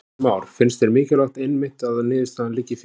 Heimir Már: Finnst þér mikilvægt einmitt að niðurstaðan liggi fyrir?